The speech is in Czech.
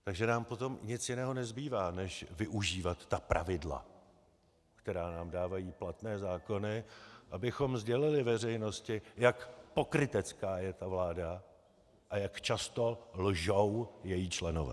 Takže nám potom nic jiného nezbývá, než využívat ta pravidla, která nám dávají platné zákony, abychom sdělili veřejnosti, jak pokrytecká je ta vláda a jak často lžou její členové.